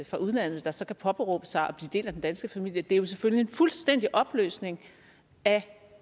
fra udlandet der så kan påberåbe sig at blive del af den danske familie det er jo selvfølgelig en fuldstændig opløsning af